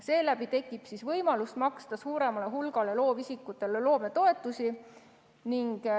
Seeläbi tekib võimalus maksta suuremale hulgale loovisikutele loometoetusi.